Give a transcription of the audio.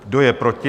Kdo je proti?